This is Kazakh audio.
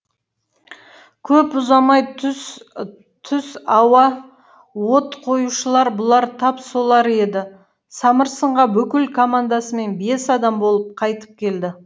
көп ұзамай түс ауа от қоюшылар бұлар тап солар еді самырсынға бүкіл командасымен бес адам болып қайтып келді